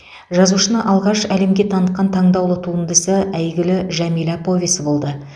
жазушыны алғаш әлемге танытқан таңдаулы туындысы әйгілі жәмила повесі болды